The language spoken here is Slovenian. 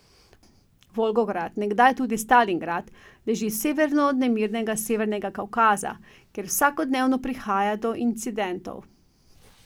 Volgograd, nekdaj tudi Stalingrad, leži severno od nemirnega Severnega Kavkaza, kjer vsakodnevno prihaja do incidentov.